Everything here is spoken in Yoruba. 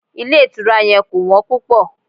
Ilé ìtura yẹn kò wọ́n púpọ̀.